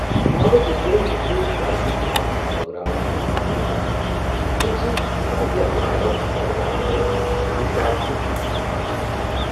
آبہٕ ذخیرن تہِ چُھ وارِیاہن جاین منز بٲگراونہٕ یِنُك رُجحان ، ییمہِ سۭتۍ واریاہ درِیاو بٲگراون وٲلۍ دُشاخ تہٕ جٔزیٖرٕ بنان چھِ ۔